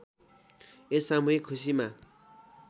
यस सामूहिक खुसीमा